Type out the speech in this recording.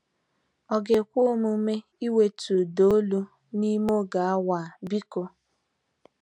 Ọ ga-ekwe omume iwetu ụda olu n'ime oge awa, biko?